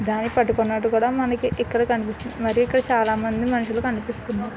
పట్టుకున్నట్టు కూడా మనకి ఇక్కడ కనిపిస్తుంది మరియు ఇక్కడ చాలా మంది మనుసులు ఇక్కడ కనిపిస్తున్నారు.